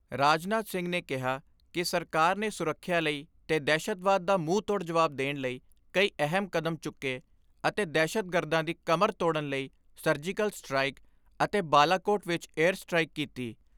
ਰਾਜਨਾਥ ਸਿੰਘ ਨੇ ਕਿਹਾ ਕਿ ਸਰਕਾਰ ਨੇ ਸੁਰੱਖਿਆ ਲਈ ਤੇ ਦਹਿਸ਼ਤਵਾਦ ਦਾ ਮੂੰਹਤੋੜ ਜਵਾਬ ਦੇਣ ਲਈ ਕਈ ਅਹਿਮ ਕਦਮ ਚੁੱਕੇ ਅਤੇ ਦਹਿਸ਼ਤਗਰਦਾਂ ਦੀ ਕਮਰ ਤੋੜਨ ਲਈ ਸਰਜੀਕਲ ਸਟਰਾਇਕ ਅਤੇ ਬਾਲਾਕੋਟ ਵਿਚ ਏਅਰ ਸਟਰਾਈਕ ਕੀਤੀ।